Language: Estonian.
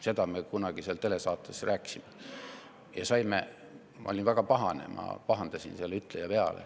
Sellest me kunagi seal telesaates rääkisime ja ma olin väga pahane, ma pahandasin selle ütleja peale.